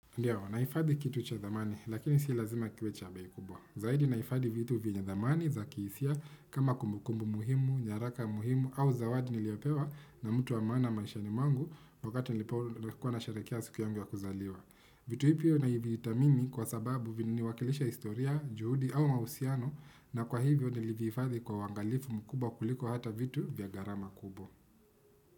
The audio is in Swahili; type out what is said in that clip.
Ndiyo, nahifadhi kitu cha thamani, lakini si lazima kiwe cha bei kubwa. Zaidi naifadhi vitu vinye thamani za kihisia kama kumbukumbu muhimu, nyaraka muhimu au zawadi niliopewa na mtu wa maana maishani mwangu wakati nilipokuwa nasherehekea siku yangu ya kuzaliwa. Vitu hivyo navithani kwa sababu viniwakilisha historia, juhudi au mahusiano na kwa hivyo nilivihifadhi kwa wangalifu mkubwa kuliko hata vitu vya garama kubwa.